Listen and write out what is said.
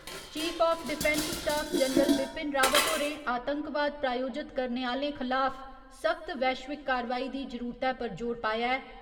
Chief of defence staff general Bipin Rawat होरें आतंकवाद प्रायोजत करने आह्‌लें खलाफ सख्त वैश्विक कारवाई दी जरूरतै पर जोर पाया ऐ।